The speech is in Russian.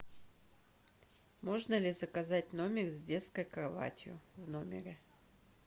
можно ли заказать номер с детской кроватью в номере